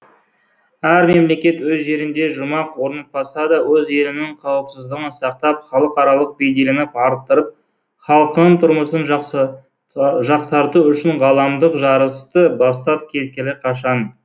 әр мемлекет өз жерінде жұмақ орнатпаса да өз елінің қауіпсіздігін сақтап халықаралық беделін арттырып халқының тұрмысын жақсарту үшін ғаламдық жарысты бастап кеткелі қашан